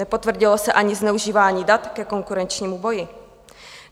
Nepotvrdilo se ani zneužívání dat ke konkurenčnímu boji.